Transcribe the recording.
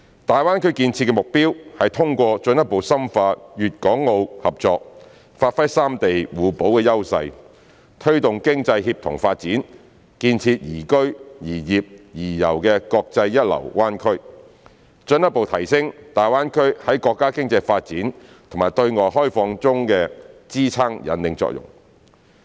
大灣區建設的目標是通過進一步深化粵港澳合作，發揮三地互補的優勢，推動經濟協同發展，建設宜居、宜業、宜遊的國際一流灣區，進一步提升大灣區在國家經濟發展和對外開放中的支撐引領作用。